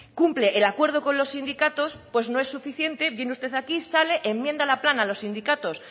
cumple el acuerdo con los sindicatos pues no es suficiente viene usted aquí sale enmienda la plana a los sindicatos